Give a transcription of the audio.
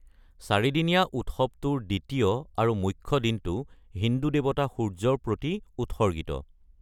চাৰিদিনীয়া উৎসৱটোৰ দ্বিতীয় আৰু মুখ্য দিনটো হিন্দু দেৱতা সূৰ্যৰ প্ৰতি উৎসৰ্গিত।